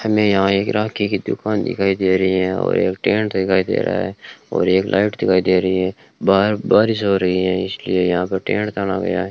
हमें यहां पर एक राखी की दुकान दिखाई दे रही है और एक टेंट दिखाई दे रहा है और एक लाइट दिखाई दे रही है बाहर बारिश हो रही है इसलिए यहां पर टेंट ताना गया --